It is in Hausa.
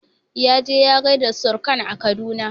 Yaje ya gaishe da surkan sa a Kaduna